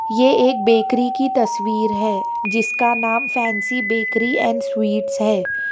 ये एक बेकरी की तस्वीर है जिसका नाम फैंसी बेकरी एंड स्वीट्स है।